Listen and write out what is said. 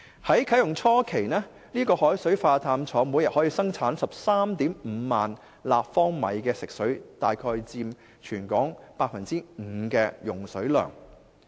在啟用初期，海水化淡廠每天可生產 135,000 立方米食水，約佔全港 5% 用水量。